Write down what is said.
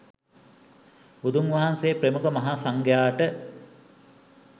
බුදුන් වහන්සේ ප්‍රමුඛ මහා සංඝයාට